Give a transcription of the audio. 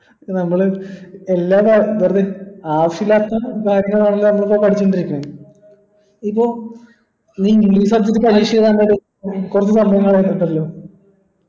നമ്മൾ ആവിശ്യം ഇല്ലാത്ത കാര്യങ്ങൾ ആണലോ നമ്മൾ ഇപ്പൊ പഠിച്ചോണ്ട് ഇരിക്കുന്നെ ഇപ്പോം നീ english subject ന്റെ പരീക്ഷ എഴുതാൻ വേണ്ടി